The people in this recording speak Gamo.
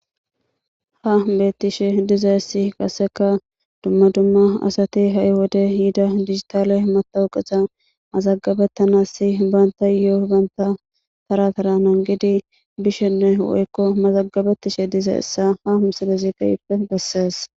Ha beeththishe dizayssi qasseka dzumma dzumma asathi ha7i wode yida digitaale mathawuqeza mazaggabeththanassi baanththayoo banththa tharaa tharaa nanggidi bishenne woykko mazaggabeththishe dizayssa ha msileze keehippe bessees.